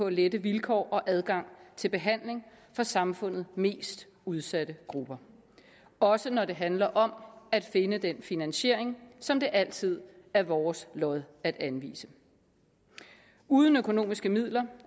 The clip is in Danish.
at lette vilkår og adgang til behandling for samfundets mest udsatte grupper også når det handler om at finde den finansiering som det altid er vores lod at anvise uden økonomiske midler